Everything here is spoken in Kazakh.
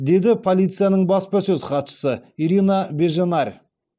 деді полицияның баспасөз хатшысы ирина беженарь